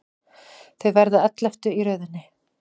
Þau verða elleftu í röðinni.